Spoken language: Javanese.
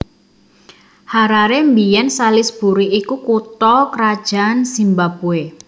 Harare biyèn Salisbury iku kutha krajan Zimbabwe